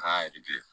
K'a